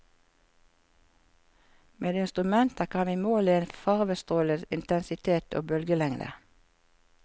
Med instrumenter kan vi måle en farvestråles intensitet og bølgelengde.